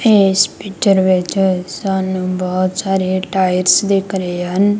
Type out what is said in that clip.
ਇਸ ਪਿਚਰ ਵਿੱਚ ਸਾਨੂੰ ਬਹੁਤ ਸਾਰੇ ਟਾਇਰ ਦਿਖ ਰਹੇ ਹਨ।